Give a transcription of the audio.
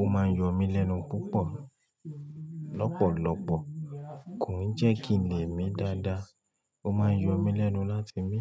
ó máa ń yọ mí lẹ́nu púpọ̀ lọ́pọ̀lọpọ̀, kò ní jẹ́ kin lè mi dáadáa, ó máa ń yọ mí lẹ́nu láti mi.